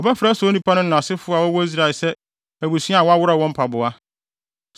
Wɔbɛfrɛ saa onipa no asefo wɔ Israel se Abusua a Wɔaworɔw wɔn Mpaboa.